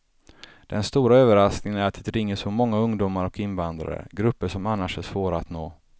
Den stora överraskningen är att det ringer så många ungdomar och invandrare, grupper som annars är svåra att nå.